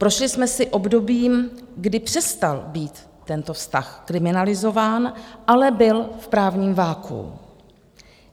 Prošli jsme si obdobím, kdy přestal být tento vztah kriminalizován, ale byl v právním vakuu.